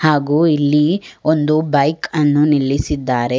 ಹಾಗೂ ಇಲ್ಲಿ ಒಂದು ಬೈಕ್ ಅನ್ನು ನಿಲ್ಲಿಸಿದ್ದಾರೆ.